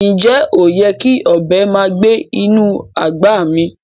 Ǹjẹ́ oyè́ kí ọbẹ màá gbẹ̀ inú agbá mí?